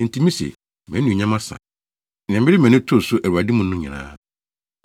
Enti mise, “Mʼanuonyam asa, nea mede mʼani too so Awurade mu no nyinaa.”